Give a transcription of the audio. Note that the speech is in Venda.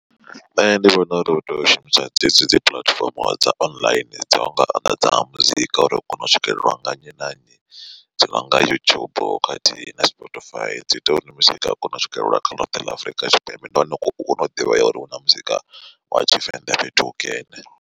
Nṋe ndi vhona uri u tea u shumisa dzedzi dzi puḽatifomo dza online dza unga anḓadza muzika uri u kone u swikelelwa nga nnyi na nnyi. Dzi nonga YouTube khathihi na Spotify dzi ita uri muzika u kone u swikelela kha ḽoṱhe ḽa Afrika Tshipembe ndi hone u kone u ḓivhea uri hu na muzika wa tshivenḓa fhethu hukene.